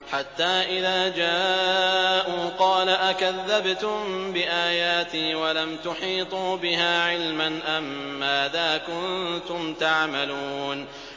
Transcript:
حَتَّىٰ إِذَا جَاءُوا قَالَ أَكَذَّبْتُم بِآيَاتِي وَلَمْ تُحِيطُوا بِهَا عِلْمًا أَمَّاذَا كُنتُمْ تَعْمَلُونَ